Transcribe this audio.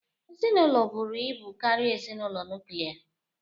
Ezinụlọ buru ibu karịa ezinụlọ nuklia